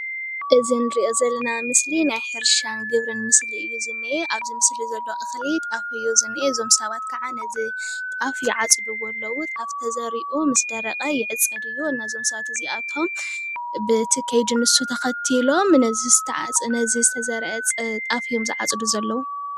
እዚ ንሪኦ ዘለና ምስሊ ናይ ሕርሻ ግብርን ምስሊ እዩ ዝኒሀ፡፡ ኣብዚ ምስሊ ዘሎ እኽሊ ጣፍ እዩ ዝኒሀ፡፡ ዞም ሰባት ኸዓ ነዚ ጣፍ ይዓፅድዎ ኣለዉ፡፡ ጣፍ ተዘሪኡ ምስ ደረቐ ይዕፀድ እዩ፡፡ ነዞም ሰባት እዚኣቶም ብቲ ከይዲ ንሱ ተኸቲሎም ነቲ ዝተዘርአ ጣፍ እዮም ዝዓፅዱ ዘለዉ፡፡